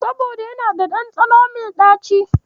Saboda yana da ɗanɗano mai ɗaci.